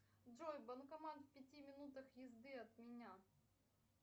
джой банкомат в пяти минутах езды от меня